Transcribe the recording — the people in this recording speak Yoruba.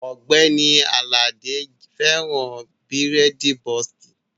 Ògbẹ́ni Àlàdé fẹ́ràn bírèèdì bọ́ọ̀ksì